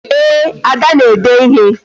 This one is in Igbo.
Ee, Ada na-ede ịhe